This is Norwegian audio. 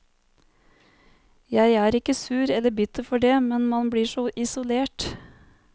Jeg er ikke sur eller bitter for det, men man blir så isolert.